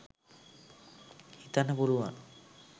හිතන්න පුළුවන්